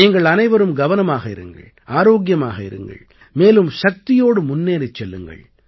நீங்கள் அனைவரும் கவனமாக இருங்கள் ஆரோக்கியமாக இருங்கள் மேலும் சக்தியோடு முன்னேறிச் செல்லுங்கள்